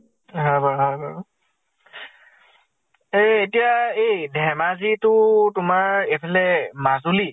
হয় বাৰু হয় বাৰু। এ এতিয়া ধেমাজী to তোমাৰ এফালে মাজুলী